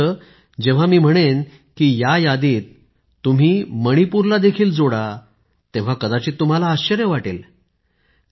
मात्र जेव्हा मी म्हणेन की या यादीत तुम्ही मणिपूरला देखील जोडा तेव्हा कदाचित तुम्हाला आश्चर्य वाटेल